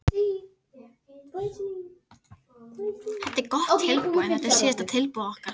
Þetta er gott tilboð en þetta er síðasta tilboð okkar.